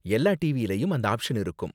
எல்லா டிவியிலும் அந்த ஆப்ஷன் இருக்கும்.